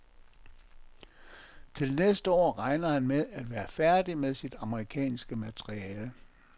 Til næste år regner han med at være færdig med sit amerikanske materiale.